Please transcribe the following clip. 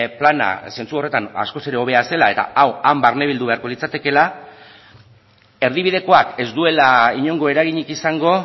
plana zentzu horretan askoz hobea zela eta hau han barne bildu beharko litzatekeela erdibidekoak ez duela inongo eraginik izango